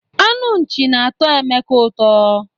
Anụ nchị na-atọ Emeka ụtọ.